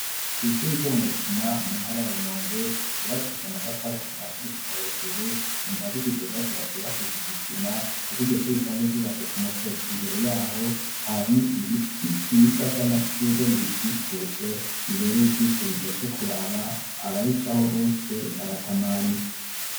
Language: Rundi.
Kw'ishuri ryo mukina mu ntara ya rumonge ryubakisha amatafari kuvasi gushika hejuru ingazi zidugagira zyubakisha ijisima, kuko iryoshe risanzwe ryubatse ku musozi imbere yaho hari ibiti vyiza vy'amashurwe birikikuje bibereye ijisho biryoshe kuraba ababico aho bose baratamarirwe.